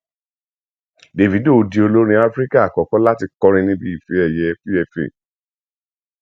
dávido di olórin afrika àkọkọ láti kọrin níbi ife ẹyẹ pfa